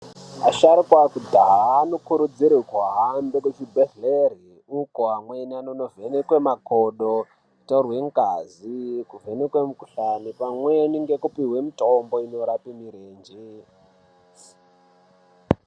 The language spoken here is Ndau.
Asharuka akudhaya anokurudzirwe kuhambe kuchibhedhlere uko amweni anonovhenekwe makodo ,kutorwe ngazi , kuvhenekwe mukhuhlani pamweni ngekupuhwe mutombo inorape mirenje.